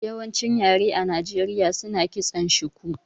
Yawancin yare a Nijeriya suna kitson chuku